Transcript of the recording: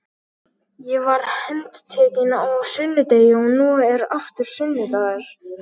Ég var handtekinn á sunnudegi og nú er aftur sunnudagur.